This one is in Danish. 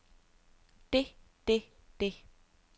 det det det